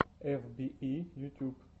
эф би и ютьюб